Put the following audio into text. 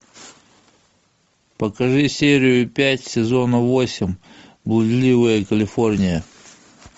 покажи серию пять сезона восемь блудливая калифорния